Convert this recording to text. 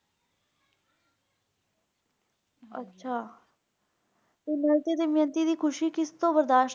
ਅੱਛਾ ਤੇ ਨਾਲ ਤੇ ਦਮਯੰਤੀ ਦੀ ਖੁਸ਼ੀ ਕਿਸ ਤੋਂ ਬਰਦਾਸ਼ਤ?